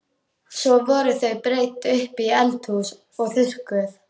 Svo voru þau breidd upp í eldhús og þurrkuð.